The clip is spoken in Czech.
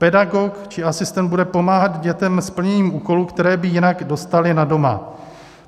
Pedagog či asistent bude pomáhat dětem s plněním úkolů, které by jinak dostaly na doma.